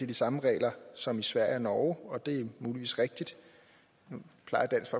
de samme regler som i sverige og norge og det er muligvis rigtigt nu plejer dansk